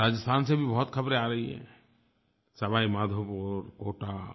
इधर राजस्थान से भी बहुत ख़बरें आ रही हैं सवाई माधोपुर कोटा